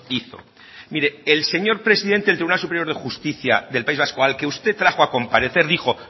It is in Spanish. hizo mire el señor presidente del tribunal superior de justicia del país vasco al que usted trajo a comparecer dijo